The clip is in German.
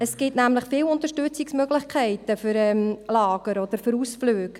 Es gibt viele Unterstützungsmöglichkeiten für Lager oder für Ausflüge.